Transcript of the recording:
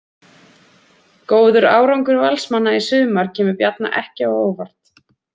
Góður árangur Valsmanna í sumar kemur Bjarna ekki á óvart.